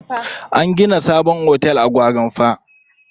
An gina sabon otel a Gwarinpa.